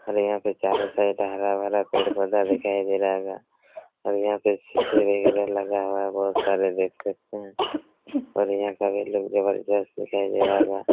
यहां पे चारों साइड हरा भरा पेड़ पौधा दिखाई दे रहा होगा और यहां पे सीसी वैगेरा लगा हुआ बहुत सारे देख सकते है और यहां का भी लोग जबरदस्त दिखाई दे रहा होगा।